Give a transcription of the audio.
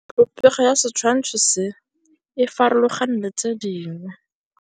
Popêgo ya setshwantshô se, e farologane le tse dingwe.